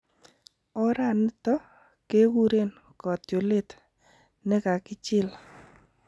Oraniton kekuren kotiolet nekakichil.